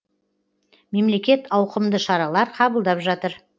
мемлекет ауқымды шаралар қабылдап жатыр